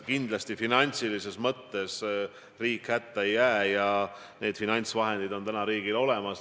Kindlasti finantsilises mõttes riik hätta ei jää ja need finantsvahendid on täna riigil olemas.